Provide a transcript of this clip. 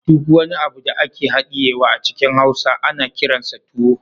Duk wani abu da ake hadiyewa a cikin hausa ana kiransa tuwo